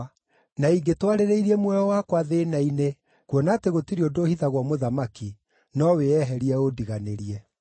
Na ingĩtwarĩrĩirie muoyo wakwa thĩĩna-inĩ, na tondũ gũtirĩ ũndũ ũhithagwo mũthamaki, no wĩeherie ũndiganĩrie.”